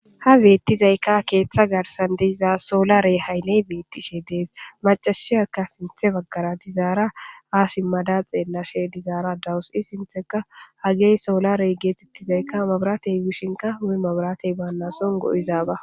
Ha beettizayka keeththa garsandeyizaa soolarey hayley beettishe dees macashiyaka sinthe baggara dizaara aasi madaxee lashe dizaara dawus i sintheka hagey soolarey geetettizayka mabratey wishinka hume mabratey baannasongo' izaaba.